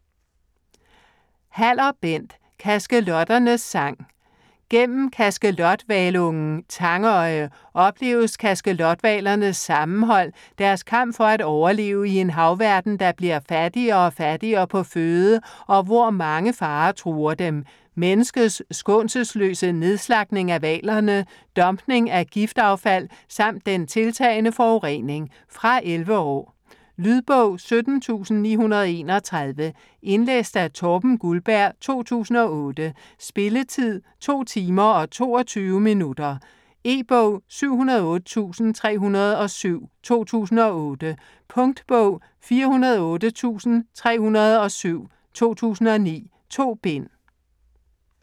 Haller, Bent: Kaskelotternes sang Gennem kaskelothvalungen Tangøje opleves kaskelothvalernes sammenhold, deres kamp for at overleve i en havverden, der bliver fattigere og fattigere på føde, og hvor mange farer truer dem, menneskets skånselsløse nedslagtning af hvalerne, dumpning af giftaffald samt den tiltagende forurening. Fra 11 år. Lydbog 17931 Indlæst af Torben Guldberg, 2008. Spilletid: 2 timer, 22 minutter. E-bog 708307 2008. Punktbog 408307 2009. 2 bind.